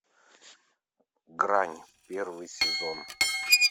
грань первый сезон